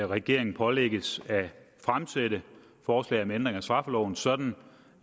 regeringen pålægges at fremsætte forslag om ændring af straffeloven sådan